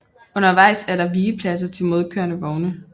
Undervejs er der vigepladser til modkørende vogne